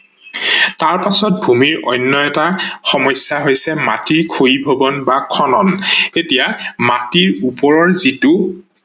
তাৰ পাছত ভূমিৰ অন্য এটা সমস্যা হৈছে মাটিৰ খয়িভৱন বা খনন। এতিয়া মাটিৰ ওপৰৰ যিটো